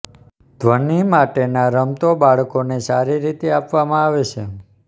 ધ્વનિ માટેના રમતો બાળકોને સારી રીતે આપવામાં આવે છે